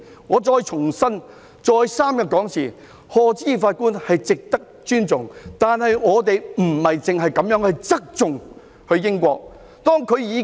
我再三強調，賀知義法官是值得尊重的，但政府不應只側重英國的法官。